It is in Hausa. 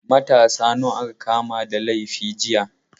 Matasa nawa aka kama da laifi jiya?